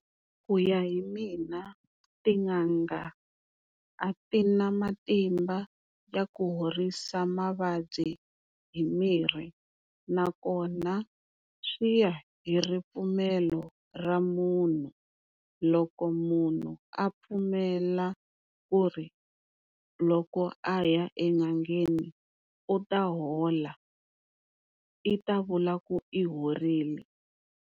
Ku ya hi mina tin'anga a ti na matimba ya ku horisa mavabyi hi mirhi nakona swi ya hi ripfumelo ra munhu loko munhu a pfumela ku ri loko a ya en'angeni u ta hola, i ta vula ku i horile.